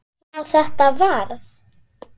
hvað þetta varðar.